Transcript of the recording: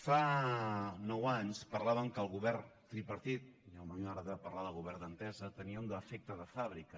fa nou anys parlaven que el govern tripartit i a mi m’agrada parlar de govern d’entesa tenia un defecte de fàbrica